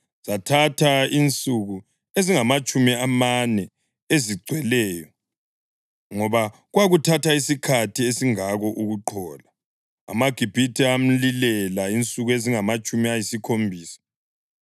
zathatha insuku ezingamatshumi amane ezigcweleyo, ngoba kwakuthatha isikhathi esingako ukuqhola. AmaGibhithe amlilela insuku ezingamatshumi ayisikhombisa.